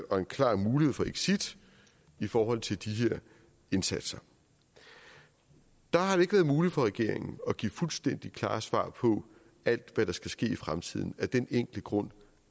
og en klar mulighed for exit i forhold til de her indsatser der har det ikke været muligt for regeringen at give fuldstændig klare svar på alt hvad der skal ske i fremtiden af den enkle grund